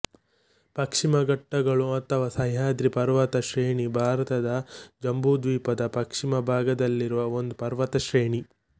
ಪಶ್ಚಿಮ ಘಟ್ಟಗಳು ಅಥವಾ ಸಹ್ಯಾದ್ರಿ ಪರ್ವತ ಶ್ರೇಣಿ ಭಾರತ ಜಂಬೂದ್ವೀಪದ ಪಶ್ಚಿಮ ಭಾಗದಲ್ಲಿರುವ ಒಂದು ಪರ್ವತ ಶ್ರೇಣಿ